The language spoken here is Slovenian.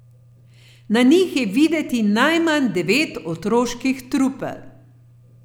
Na njih je videti najmanj devet otroških trupel.